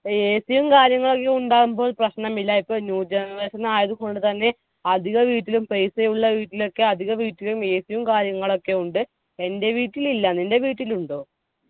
AC യും കാര്യങ്ങളു എല്ലു ഇണ്ടാവുമ്പോൾ പ്രശ്നമില്ല ഇപ്പൊ new generation ആയതുകൊണ്ട് തന്നെ അധിക വീട്ടിലും paisa യുള്ള വീട്ടിലൊക്കെ അധിക വീട്ടിലും AC യും കാര്യങ്ങളൊക്കെ ഉണ്ട്. എന്റെ വീട്ടിൽ ഇല്ല നിന്റെ വീട്ടിൽ ഉണ്ടോ?